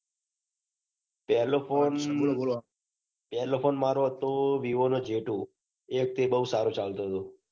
પેલો ફોન મારો હતો વિવો નો જે ટુ એ વખતે બૌ સારો ચાલતો હતો.